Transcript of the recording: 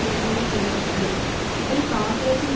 இடங்களை கைப்பற்றியது இதில் காங்கிரசின்